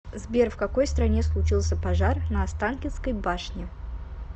сбер в какой стране случился пожар на останкинской башне